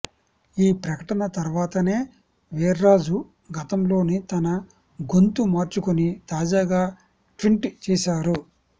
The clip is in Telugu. ఈ ప్రకటన తర్వాతనే వీర్రాజు గతంలోని తన గొంతు మార్చుకొని తాజాగా ట్వీట్ చేశారు